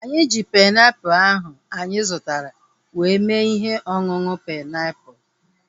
Anyị ji painiapulu ahu anyị zụtara were mee ihe ọṅụṅụ painiapulu